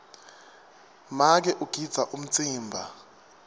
make ugidza umtsimba